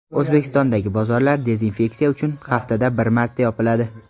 O‘zbekistondagi bozorlar dezinfeksiya uchun haftada bir marta yopiladi.